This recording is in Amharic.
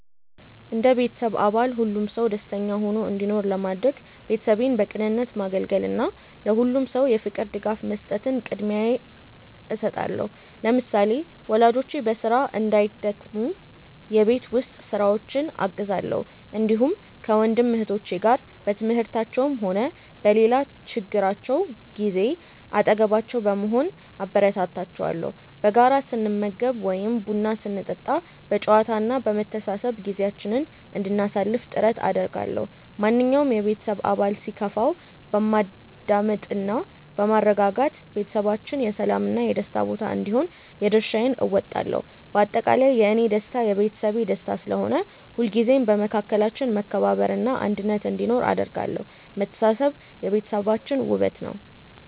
እንደ ቤተሰብ አባል ሁሉም ሰው ደስተኛ ሆኖ እንዲኖር ለማድረግ፣ ቤተሰቤን በቅንነት ማገልገልን እና ለሁሉም ሰው የፍቅር ድጋፍ መስጠትን ቅድሚያ እሰጣለሁ። ለምሳሌ፣ ወላጆቼ በስራ እንዳይደክሙ የቤት ውስጥ ስራዎችን አግዛለሁ፣ እንዲሁም ከወንድም እህቶቼ ጋር በትምህርታቸውም ሆነ በሌላ ችግራቸው ጊዜ አጠገባቸው በመሆን አበረታታቸዋለሁ። በጋራ ስንመገብ ወይም ቡና ስንጠጣ በጨዋታ እና በመተሳሰብ ጊዜያችንን እንድናሳልፍ ጥረት አደርጋለሁ። ማንኛውም የቤተሰብ አባል ሲከፋው በማዳመጥ እና በማረጋጋት ቤታችን የሰላም እና የደስታ ቦታ እንዲሆን የድርሻዬን እወጣለሁ። በአጠቃላይ፣ የእኔ ደስታ የቤተሰቤ ደስታ ስለሆነ፣ ሁልጊዜም በመካከላችን መከባበር እና አንድነት እንዲኖር አደርጋለሁ። መተሳሰብ የቤታችን ውበት ነው።